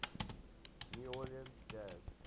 new orleans jazz